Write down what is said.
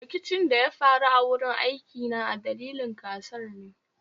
Rikicin da ya faru a wurin aikina a dalilin gasar ne